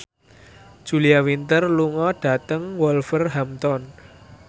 Julia Winter lunga dhateng Wolverhampton